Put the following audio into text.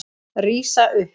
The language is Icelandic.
Rísa upp.